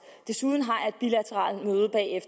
desuden har